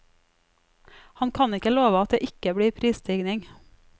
Han kan ikke love at det ikke blir prisstigning.